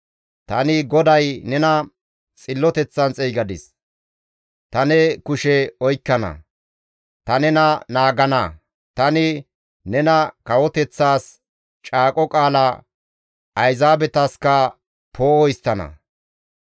«Tani GODAY nena xilloteththan xeygadis; ta ne kushe oykkana; ta nena naagana. Tani nena kawoteththaas caaqo qaala, ayzaabetaska poo7o histtana